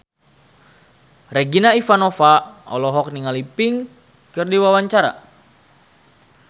Regina Ivanova olohok ningali Pink keur diwawancara